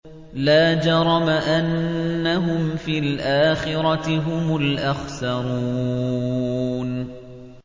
لَا جَرَمَ أَنَّهُمْ فِي الْآخِرَةِ هُمُ الْأَخْسَرُونَ